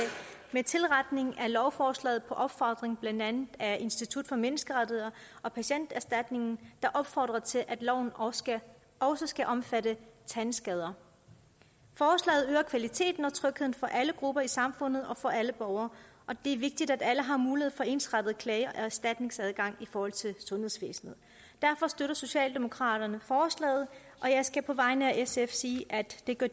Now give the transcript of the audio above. med tilretning af lovforslaget på opfordring blandt andet af institut for menneskerettigheder og patienterstatningen der opfordrer til at loven også skal også skal omfatte tandskader forslaget øger kvaliteten og trygheden for alle grupper i samfundet og for alle borgere og det er vigtigt at alle har mulighed for ensartet klage og erstatningsadgang i forhold til sundhedsvæsenet derfor støtter socialdemokraterne forslaget og jeg skal på vegne af sf sige at det gør